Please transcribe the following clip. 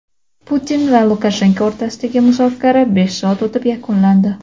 Putin va Lukashenko o‘rtasidagi muzokara besh soat o‘tib yakunlandi.